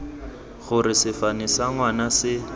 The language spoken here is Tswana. gore sefane sa ngwana se